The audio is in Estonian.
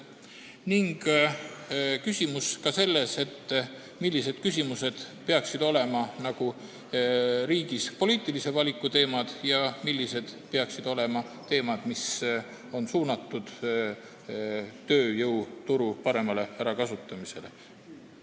Oli ka see küsimus, millised peaksid olema riigis poliitilise valiku teemad ja millised peaksid olema teemad, mis on suunatud tööjõuturu paremale ärakasutamisele.